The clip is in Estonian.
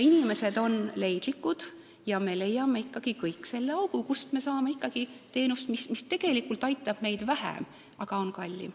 Inimesed on leidlikud, me leiame ikkagi kõik selle augu, kust me saame teenust, mis tegelikult aitab meid vähem, aga on kallim.